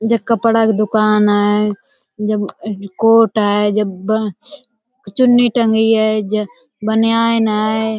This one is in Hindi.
जे कपड़ा की दुकान हैं जे ब कोट हैं जे ब चुन्नी टंगी हैं। जे बनियान हैं।